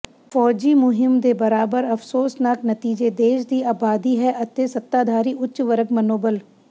ਫੌਜੀ ਮੁਹਿੰਮ ਦੇ ਬਰਾਬਰ ਅਫਸੋਸਨਾਕ ਨਤੀਜੇ ਦੇਸ਼ ਦੀ ਅਬਾਦੀ ਹੈ ਅਤੇ ਸੱਤਾਧਾਰੀ ਉੱਚ ਵਰਗ ਮਨੋਬਲ